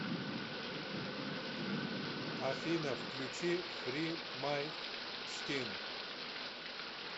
афина включи фри май скин